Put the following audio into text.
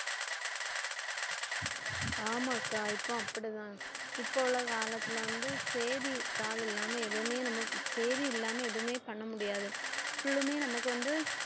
ஆமாக்கா இப்பவும் அப்படித்தான் இப்ப உள்ள காலத்துல வந்து செய்தித்தாள் இல்லாம எதுவுமே நம்ம சேதி இல்லாம எதுவுமே பண்ண முடியாது full மே நமக்கு வந்து